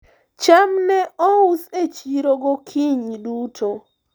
cham ne ous e chiro gokinyi duto